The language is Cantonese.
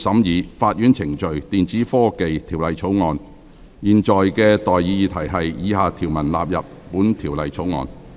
我現在向各位提出的待議議題是：以下條文納入本條例草案。